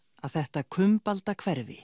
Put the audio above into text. að þetta